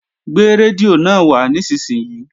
Gbé rédíò náà wá nísinsìnyí!